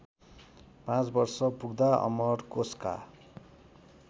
पाँच वर्षपुग्दा अमरकोशका